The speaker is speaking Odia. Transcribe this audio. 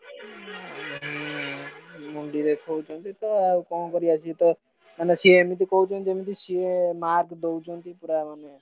ଉଁ ହୁଁ ମୁଣ୍ଡି ଦେଖଉଛନ୍ତି ତ କଣ କରିଆ ସେ ତ ମାନେ ସିଏ ଏମିତି କହୁଛନ୍ତି ଯେମିତି ସିଏ mark ଦଉଛନ୍ତି ପୁରା ମାନେ,